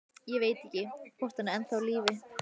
Ég veit ekki, hvort hann er ennþá á lífi.